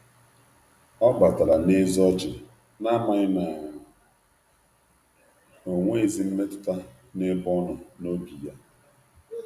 Ọ batara n'eze ọchị, na-amaghị na onweghizi mmetụta n'ebe ọnọ n’obi ya.